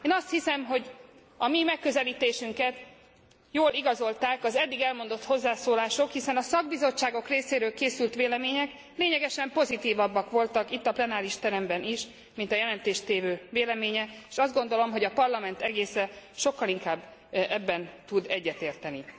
Én azt hiszem, hogy a mi megközelítésünket jól igazolták az eddig elmondott hozzászólalások, hiszen a szakbizottságok részéről készült vélemények lényegesen pozitívabbak voltak itt, a plenáris teremben is, mint a jelentéstévő véleménye, és azt gondolom, hogy a Parlament egésze sokkal inkább ebben tud egyetérteni.